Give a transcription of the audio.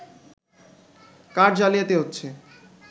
card জালিয়াতি হচ্ছে